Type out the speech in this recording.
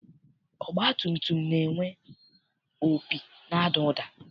Ọgbatumtum na-enwe opi na-ada ụda.